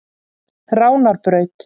Ránarbraut